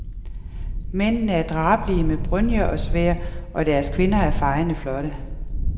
Mændene er drabelige, med brynjer og sværd, og deres kvinder er fejende flotte.